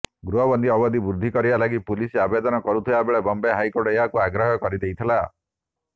ଗୃହବନ୍ଦୀ ଅବଧି ବୃଦ୍ଧି କରିବା ଲାଗି ପୁଲିସ ଆବେଦନ କରିଥିବାବେଳେ ବମ୍ବେ ହାଇକୋର୍ଟ ଏହାକୁ ଅଗ୍ରାହ୍ୟ କରିଦେଇଥିଲା